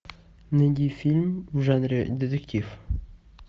найди фильм в жанре детектив